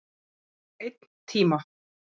Einn tíma.